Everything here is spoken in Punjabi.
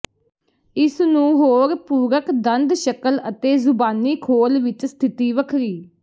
ਇਸ ਨੂੰ ਹੋਰ ਪੂਰਕ ਦੰਦ ਸ਼ਕਲ ਅਤੇ ਜ਼ੁਬਾਨੀ ਖੋਲ ਵਿੱਚ ਸਥਿਤੀ ਵੱਖਰੀ